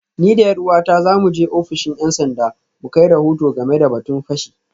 Ni da ’yar’uwata za mu je ofishin ‘yan sanda mu kai rahoto game da batun fashi